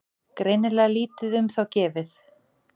Greinilega lítið um þá gefið.